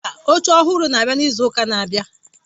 Mba, oche ọhụrụ na-abịa n'izu ụka na-abịa.